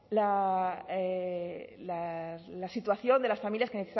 la situación de las familias que